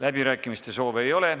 Läbirääkimiste soove ei ole.